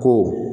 Ko